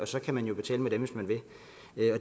så kan man jo betale med dem hvis man vil